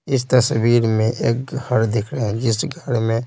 इस तस्वीर में एक घर दिख रहा है जिस घर में --